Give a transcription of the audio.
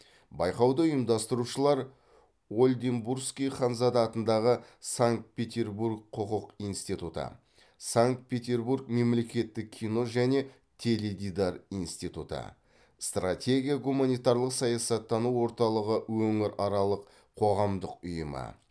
байқауды ұйымдастырушылар ольденбургский ханзада атындағы санкт петербург құқық институты санкт петербург мемлекеттік кино және теледидар институты стратегия гуманитарлық саясаттану орталығы өңіраралық қоғамдық ұйымы